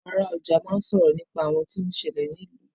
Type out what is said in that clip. Àwọn ara ọjà máa n sọ̀rọ̀ nípa ohun tó ń ṣẹlè ní ìlú.